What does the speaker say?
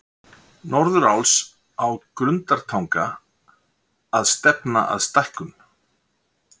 Norðuráls á Grundartanga að stefna að stækkun